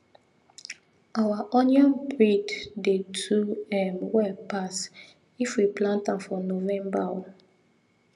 our onion breed dey do um well pass if we plant am for november um